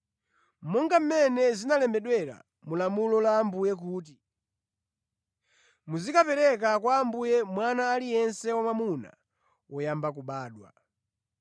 (Monga mmene zinalembedwera mu lamulo la Ambuye kuti, “Muzikapereka kwa Ambuye mwana aliyense wamwamuna woyamba kubadwa”),